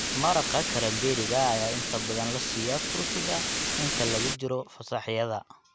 Maraqa karamberriga ayaa inta badan la siiyaa turkiga inta lagu jiro fasaxyada.